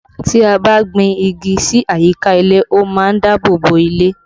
Tí a bá gbin igi sí àyíká ilé, ó má ń dáàbò bo ilé